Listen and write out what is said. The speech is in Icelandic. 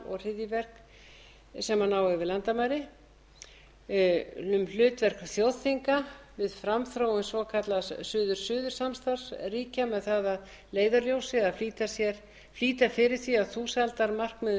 og hryðjuverk sem ná yfir landamæri annað hlutverk þjóðþinga við framþróun svokallaðs suður suður samstarfs ríkja með það að leiðarljósi að flýta fyrir því að þúsaldarmarkmiðum